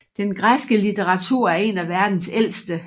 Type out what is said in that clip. Den græske litteratur er en af verdens ældste